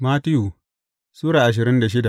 Mattiyu Sura ashirin da shida